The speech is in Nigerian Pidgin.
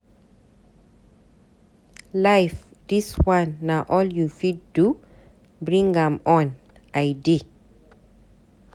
Life dis one na all you fit do? Bring am on, I dey.